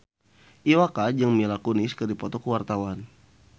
Iwa K jeung Mila Kunis keur dipoto ku wartawan